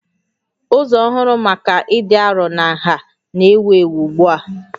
Ụzọ ọhụrụ maka ịdị arọ na nha na-ewu ewu ugbu a